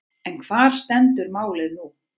En hvar stendur málið nú?